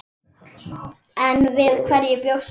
En við hverju bjóst hann?